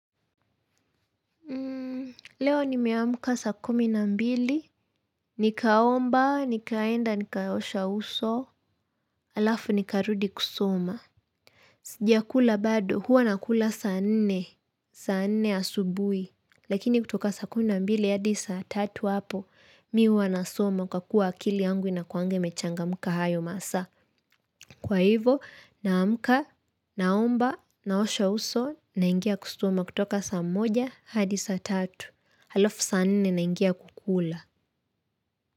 Leo nimeamka saa kumi na mbili, nikaomba, nikaenda, nikaosha uso, alafu nikarudi kusoma. Sijakula bado, huwa nakula saa nne, saa nne asubuhi, lakini kutoka saa kumi na mbili hadi saa tatu hapo, mi huwanasoma kwa kuwa akili yangu inakuanga imechangamka hayo masaa. Kwa hivyo, naamka, naomba, naosha uso, naingia kusoma kutoka saa moja hadi saa tatu. Halafu sa nne naingia kukula.